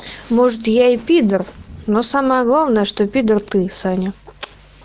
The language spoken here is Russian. может я и пидор но самое главное что пидр ты саня